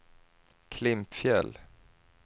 Klimpfjäll